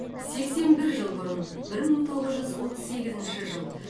сексен бір жыл бұрын бір мың тоғыз жүз отыз сегізінші жыл